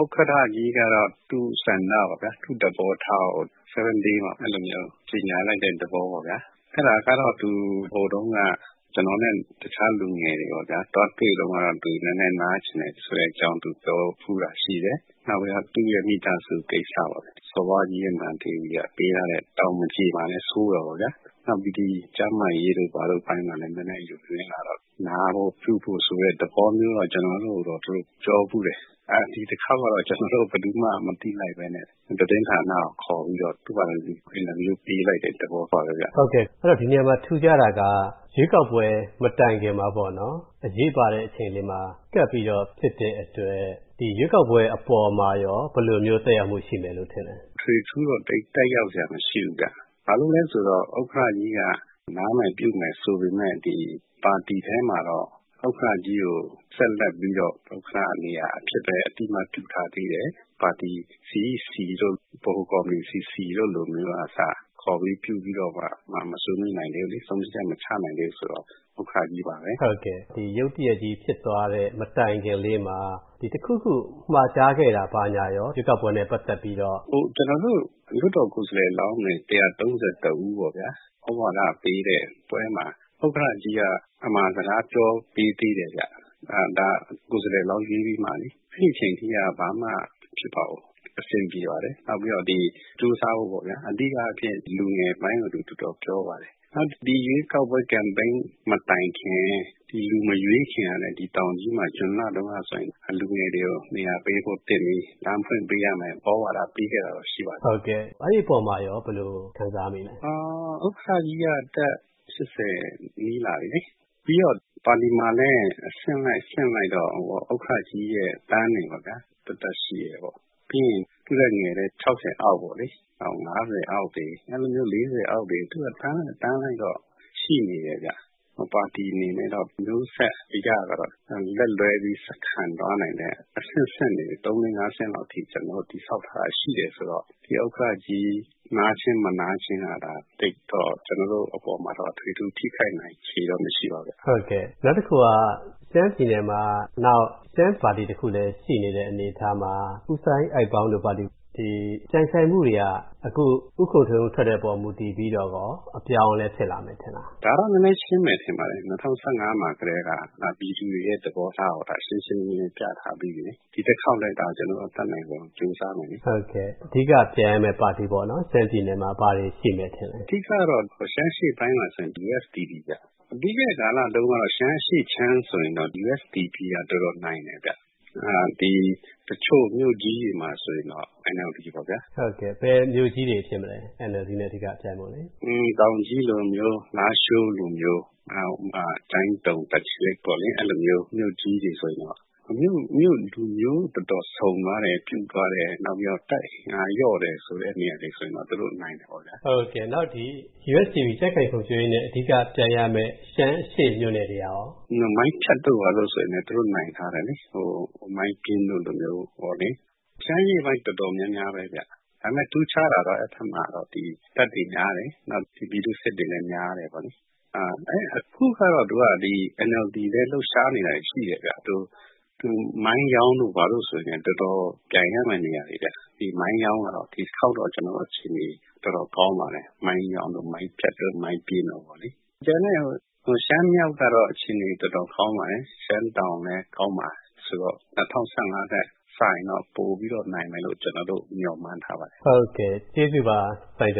ဥက္ကဌကြီးကတော့ သူ့ဆန္ဒပေါ့ဗျာ သူ့သဘောထားကို 7Day မှာ အဲ့လိုမျိုး ကြေညာလိုက်တဲ့ သဘောပေါ့ဗျာ။အဲ့ဒါကတော့ သူ ဟိုတုန်းက ကျွန်တော်နဲ့ တခြားလူငယ်တွေပေ့ါဗျာ၊ သွားတွေ့တဲ့တုံးကတော့၊ သူနည်းနည်း နားချင်တယ်ဆိုတဲ့အကြောင်းပြောဖူးတာရှိတယ်။နောက်ပြီးတော့ သူ့ရဲ့ မိသားစုကိစ္စပေါ့ဗျာ၊ စော်ဘွားကြီးနဲ့ မဟာဒေဝီက ပေးထားတဲ့ တာဝန်မကျေမှာလည်း စိုးတာပေါ့ဗျာ။နောက်ပြီး ဒီကျန်းမာရေးတို့ ဘာတို့အပိုင်းမှာလည်း နည်းနည်း ယိုယွင်းလာတော့၊ နားဖို့ပြုဖို့ ဆိုတဲ့သဘောမျိုးကိုတော့ ကျွန်တော်တို့ကိုပြောဖူးတယ်။အဲ့ ဒီတစ်ခေါက်တော့ ကျွန်တော်တို့ ဘယ်သူမှ မသိလိုက်ဘဲနဲ့ သတင်းဌာနာကို ခေါ်ပြီးတော့ သူဟာနဲ့သူ အင်တာဗျူးပေးလိုက်တဲ့ သဘောပါပဲဗျ။ ဒီနေရာမှာထူးခြားတာက၊ ရွေးကောက်ပွဲမတိုင်ခင်မှာပေါ့နော်၊ အရေးပါတဲ့ အချိန်လေးမှာ ကပ်ပြီးတော့ဖြစ်တဲ့အတွက်၊ ဒီရွေးကောက်ပွဲအပေါ်မှာရော၊ ဘယ်လိုမျိုးသက်ရောက်မူရှိမယ်ထင်လဲ။ အထွေအထူးတော့ သိပ်သက်ရောက်စရာမရှိဘူးဗျ။ဘာလို့လဲဆိုတော့ ဥက္ကဌကြီးက နားမယ်ပြုမယ်ဆိုပေမယ့် ဒီ ပါတီထဲမှာတော့ ဥက္ကဌကြီးကို ဆက်လက်ပြီးတော့ ဥက္ကဌနေရာအဖြစ်ပဲ အသိအမှတ်ပြုထားသေးတယ်။ပါတီ CEC တို့၊ ဗဟိုကော်မတီ CC တို့လိုမျိုးကအစ၊ ခေါ်ပြီး ပြုပြီးတော့မှ မဆွေးနွေးနိုင်သေးဘူးလေ၊ ဆုံးဖြတ်ချက်မချနိုင်သေးဘူးဆိုတော့ ဥက္ကဌကြီးပါပဲ။ အခု ရုတ်တရက်ကြီး ဖြစ်သွားတဲ့ မတိုင်ခင်လေးမှာ ဒီတစ်ခုခု မှာကြားခဲ့တာ၊ ဘာညာရော၊ ဒီရွေးကောက်ပွဲနဲ့ ပတ်သက်ပြီးတော့။ ကျွန်တော်တို့ လွှတ်တော်ကိုယ်စားလှယ်လောင်းတွေ ၁၃၁ ဦးပေါ့ဗျာ။သြဝါဒပေးတဲ့ပွဲမှာ၊ ဥက္ကဌကြီးက အမှာစကားပြောပေး ခဲ့သေးတယ်ဗျ။ဒါကိုယ်စားလှယ်လောင်းရွေးပြီးမှလေ။အဲ့ဒီအချိန်ထိက ဘာမှ မဖြစ်ပါဘူး၊ အဆင်ပြေပါတယ်။နောက်ပြီးတော့ ဒီ ကြိုးစားဖို့ပေါ့ဗျာ၊ အဓိကအားဖြင့် လူငယ်ပိုင်းကို သူတော်တော် ပြောပါတယ်။နောက်ဒီရွေးကောက်ပွဲ Campaign မတိုင်ခင်၊ ဒီလူမရွေးခင်တုန်းကလည်း တောင်ကြီးမှာ၊ ဒီဇွန်လတုန်းကဆိုရင်၊ ဒီလူငယ်တွေကို နေရာပေးဖို့သင့်ပြီ၊ လမ်းဖွင့်ပေးရမယ်၊ သြဝါဒပေးခဲ့တာတော့ ရှိပါတယ်။ အဲ့ဒီ အပေါ်မှာရော ဘယ်လိုခံစားမိလဲ။ ဥက္ကဌကြီးက အသက် ၈၀ နီးလာပြီလေ။ပြီးတော့ ပါတီမှာလဲ အဆင့်လိုက် အဆင့်လိုက်တော့၊ ဥက္ကဌကြီးရဲ့ အတန်းတွေပေါ့ဗျာ။ သပ်သပ်ရှိတယ်။ပြီးရင် သူ့ထက်ငယ်တဲ့ ၆၀ အောက်ပေါ့လေ။နောက် ၅၀ အောက်တွေ၊ အဲ့လိုမျိုး ၄၀ အောက်တွေ သူ့အတန်းလိုက် အတန်းလိုက်တော့ ရှိနေတယ်ဗျ။ပါတီအနေနဲ့တော့ မျိုးဆက်အရကတော့၊ လက်လွှဲပြီး ဆက်ခံသွားနိုင်တဲ့ အဆင့်ဆင့်တွေ ၃၊ ၄၊ ၅ ဆင့်လောက်အထိ ကျွန်တော်တို့ တည်ဆောက်ထားတာ ရှိတယ်ဆိုတော့၊ ဒီ ဥက္ကဌကြီး နားခြင်း၊ မနားခြင်းက သိပ်တော့ ကျွန်တော်တို့အပေါ်မှာတော့ အတွေအထူး ထိခိုက်နိုင်ချေတော့ မရှိပါဘူးဗျ။ နောက်တစ်ခုက ရှမ်းပြည်နယ်မှာ နောက်ထပ်ရှမ်းပါတီတစ်ခုလည်းရှိနေတဲ့ အနေအထားမှာ၊ ဦးစိုင်းအိုက်ပေါင်း ဦးဆောင်တဲ့ SNDP ရှိတော့၊ ဒီပြိုင်ဆိုင်မူတွေက အခု ဦးခွန်ထွန်းဦးထွက်တဲ့အပေါ်မူတည်ပြီးတော့ရော၊ အပြောင်းအလဲဖြစ်လာနိုင်မယ်ထင်လား။ ဒါကတော့ နည်းနည်း ရှင်းမယ်ထင်ပါတယ်။၂၀၁၅ မှာကတည်းက၊ ပြည်သူတွေရဲ့ သဘောထားကို ဒါရှင်းရှင်းလင်းလင်းပြထားပြီးပြီလေ။ဒီတစ်ခေါက်လည်း ကျွန်တော်တို့ အတတ်နိုင်ဆုံး ကြိုးစားမယ်လေ။ အဓိက ပြိုင်ရမယ့် ပါတီပေါ့၊ ရှမ်းပြည်နယ်မှာ ဘာတွေရှိမယ်ထင်လဲ။ အဓိကကတော့ ရှမ်းအရှေ့ပိုင်းမှာဆို USDP ဗျ။ပြီးခဲ့တဲ့ကာလတုန်း ကဆိုရင်တော့ ရှမ်းအရှေ.ခြမ်းဆို USDP က တော်တော်နိုင်တယ်ဗျ။အဲဒီ တချို့မြို့ကြီးတွေမှာဆိုရင်တော့ NLD ပေါ့ဗျာ။ ဘယ်မြို့ကြီးတွေဖြစ်မလဲ၊ NLD နဲ့ ပြိုင်ဖို့လေ။ တောင်ကြီးလိုမျိုး၊ လားရှိုးလိုမျိုး၊ ကျိုင်းတုံ၊ တာချီလိတ်ပေါ့လေ။အဲ့ဒီလို မြို့ကြီးတွေဆိုရင်တော့၊ မြို.က လူမျိုး တော်တော်စုံသွားတယ်၊ ပြုသွားတယ်။နောက်ပြီးတော့ တပ်အင်အားလျော့သွားတဲ့ နေရာတွေဆိုရင်တော့ သူတို့ နိုင်တယ်ပေါ့ဗျာ။ နောက်ဒီ USDP ကြံခိုင်ဖွံ့ဖြိုးရေးနဲ့ အဓိက ပြိုင်ရမယ့် ရှမ်းအရှေ့ မြို.နယ်တွေကရော။ မိုင်းဖြတ်တို့ဘာတို့ဆိုလဲ သူတို့ နိုင်ထားတယ်လေ။မိုင်းပျင်းတို့လိုမျိုးပေါ့လေ။ ရှမ်းအရှေ့ပိုင်းတော်တော်များများပဲဗျ။ဒါပေမဲ့ ထူးခြားတာကတော့ အဲ့ဘက်မှာတော့၊ ဒီ တပ်တွေများတယ်၊ နောက် ဒီပြည်သူ့စစ်တွေလည်း များတယ်ပေါ့လေ။အဲ အခုကတော့ အဲ့ဒိမှာ ဒီ NLD လည်း လှုပ်ရှားနေတာတွေရှိတယ်ဗျ။သူ မိုင်းယောင်းတို့ ဘာတို့ဆို တော်တော်ပြိုင်ရမယ့် နေရာတွေဗျ။ဒီမိုင်းယောင်းက ဒီတစ်ခေါက်တော့ ကျွန်တော်တို့ အခြေအနေ တော်တော်ကောင်းပါတယ်၊ မိုင်းယောင်းတို့၊ မိုင်းဖြတ်တို့၊ မိုင်းပျင်းတို့ပေါ့လေ။ကျန်တဲ့ ရှမ်းမြောက်ကတော့ အခြေအနေတောင်တော် ကောင်းပါတယ်။ရှမ်းတောင်လည်း ကောင်းတယ်ဆိုတော့၊ ၂၀၁၅ နဲ့ စာရင်တော့၊ ပိုပြီးတော့ နိုင်မယ်လို့ ကျွန်တော်တို့ မျှော်မှန်းထားပါတယ်။ ကျေးဇူးပါ၊ စိုင်းကျ